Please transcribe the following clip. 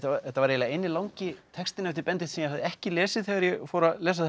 þetta var eiginlega eini langi textinn eftir Benedikt sem ég hafði ekki lesið þegar ég fór að lesa